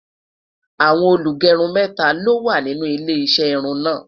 àwọn olugerun méta ló wà nínú ilé iṣé irún na